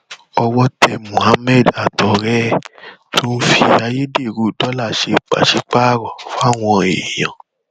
owó tẹ muhammed àtọrẹ ẹ tó ń fi ayédèrú dọlà ṣe pàṣípààrọ fáwọn èèyàn